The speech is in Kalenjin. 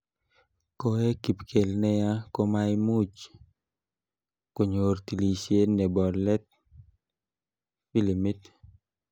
Koek kipkel neya komaimuch konyor tilishet nebo let filimit.